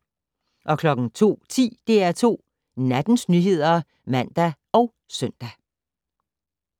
02:10: DR2 Nattens nyheder (man og søn)